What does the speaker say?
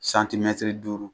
Santimɛtiri duuru,